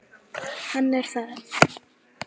Hann er það.